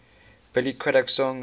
billy craddock songs